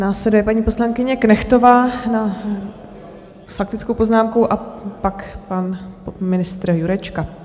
Následuje paní poslankyně Knechtová s faktickou poznámkou a pak pan ministr Jurečka.